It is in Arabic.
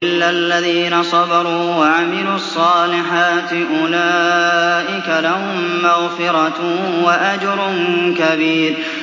إِلَّا الَّذِينَ صَبَرُوا وَعَمِلُوا الصَّالِحَاتِ أُولَٰئِكَ لَهُم مَّغْفِرَةٌ وَأَجْرٌ كَبِيرٌ